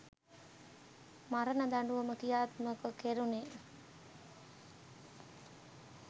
මරණ දඬුවම ක්‍රියාත්මක කෙරුණේ.